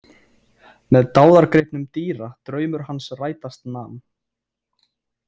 Með dáðagripnum dýra draumur hans rætast nam.